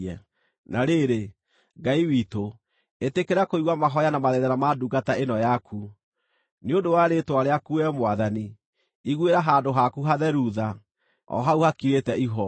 “Na rĩrĩ, Ngai witũ, ĩtĩkĩra kũigua mahooya na mathaithana ma ndungata ĩno yaku. Nĩ ũndũ wa rĩĩtwa rĩaku Wee Mwathani, iguĩra handũ haku hatheru tha, o hau hakirĩte ihooru.